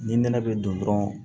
Ni nɛnɛ bɛ don dɔrɔn